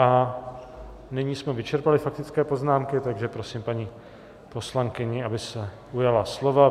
A nyní jsme vyčerpali faktické poznámky, takže prosím paní poslankyni, aby se ujala slova.